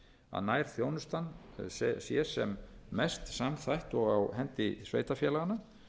að nærþjónustan sé sem mest samþætt og á hendi sveitarfélaganna